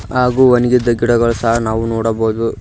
ಹಾಗೂ ವನಿಗಿದ್ ಗಿಡಗಳು ಸಹ ನಾವು ನೋಡಬಾವುದು.